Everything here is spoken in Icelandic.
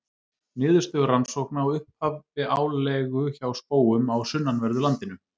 Niðurstöður rannsókna á upphafi álegu hjá spóum á sunnanverðu landinu.